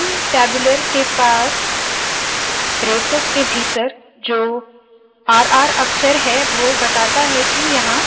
begin tabular के पास braces के भीतर जो r r अक्षर है वोह बताता है के यहाँ